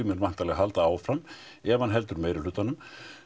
mun væntanlega halda áfram ef hann heldur meirihlutanum